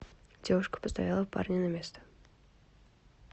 девушка поставила парня на место